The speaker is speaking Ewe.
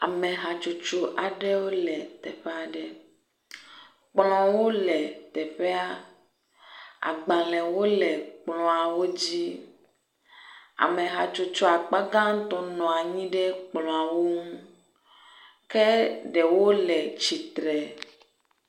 Ame hatsotso aɖewo le teƒe aɖe, kplɔwo le teƒea, agbalẽwo le kplɔ̃awo dzi, ame hatsotso akpa gãtɔ nɔ anyi ɖe kplɔ̃a ŋu ke ɖewo le tsitre.